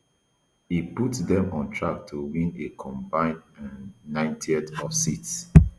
e put dem on track to win a combined um ninety of seats